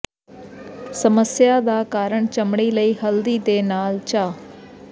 ਸਮੱਸਿਆ ਦਾ ਕਾਰਨ ਚਮੜੀ ਲਈ ਹਲਦੀ ਦੇ ਨਾਲ ਚਾ